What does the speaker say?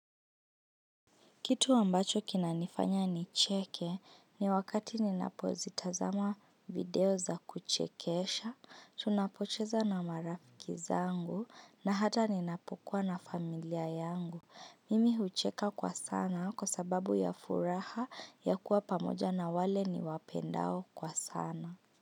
Kitu ambacho kina nifanya ni cheke ni wakati ninapo zitazama video za kuchekesha, tunapocheza na marafiki zangu na hata ninapokuwa na familia yangu. Mimi hucheka kwa sana kwa sababu ya furaha ya kuwa pamoja na wale ni wapendao kwa sana.